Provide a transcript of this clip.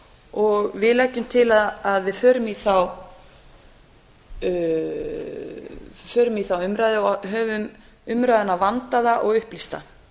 og við leggjum til að við förum í þá umræðu og höfum umræðuna vandaða og upplýsta